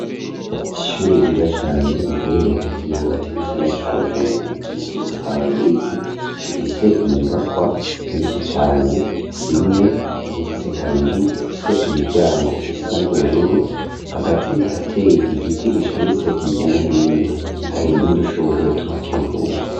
ishure ryiza cane riherereye hagati n'ahagati mugisagara ca bujumbura yitiriye ababirigi rifise inyubakwa nyinshi cane imwe igeretse kabiri ifise imiryango isa n'ubururu hagati harateye igiti gishamitse hirya no hino hari nudushugwe tuhakikuje.